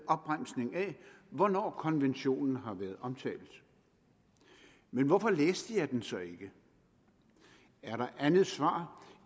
opremsning af hvornår konventionen har været omtalt men hvorfor læste jeg den så ikke er der andet svar